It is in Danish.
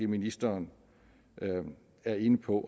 ministeren er inde på